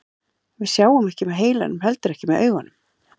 Við sjáum ekki með heilanum og heldur ekki með augunum.